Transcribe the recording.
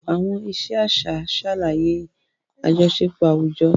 Àwọn ìṣe àṣà ṣàlàyé àjọṣepọ̀ àwùjọ.